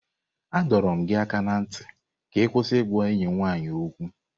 A dọrọ gị aka ná ntị ka ị kwụsị ịgwa enyi m nwaanyị okwu!